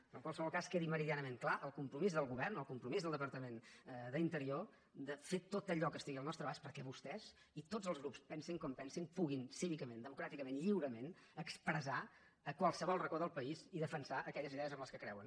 però en qualsevol cas quedi meridianament clar el compromís del govern el compromís del departament d’interior de fer tot allò que estigui al nostre abast perquè vostès i tots els grups pensin com pensin puguin cívicament democràticament lliurement expressar a qualsevol racó del país i defensar aquelles idees en què creuen